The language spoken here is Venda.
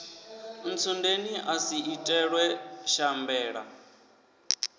ntsundeni a si itelwe shambela